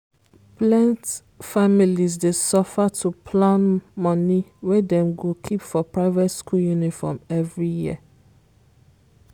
plent families dey suffer to plan money wey dem go keep for private school uniform every year.